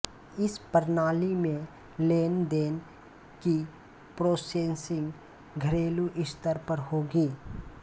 इस प्रणाली में लेन देन की प्रॉसेसिंग घरेलू स्तर पर होगी